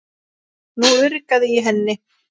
Nú urgaði í henni.